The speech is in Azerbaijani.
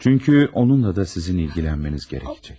Çünki onunla da sizin ilgilənməniz gərəkəcək.